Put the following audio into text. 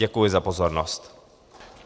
Děkuji za pozornost.